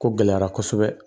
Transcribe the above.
Ko gɛlɛyara kosɛbɛ